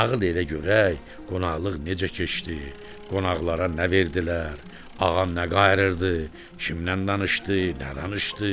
Nağıl elə görək qonaqlıq necə keçdi, qonaqlara nə verdilər, ağa nə qayırırdı, kimdən danışdı, nə danışdı?